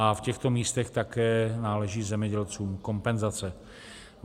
A v těchto místech také náleží zemědělcům kompenzace.